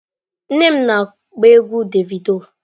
Nne m na-agba egwu Davido.